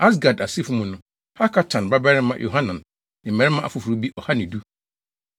Asgad asefo mu no: Hakatan babarima Yohanan ne mmarima afoforo bi ɔha ne du.